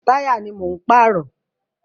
Táyà ni mò ń pààrọ̀.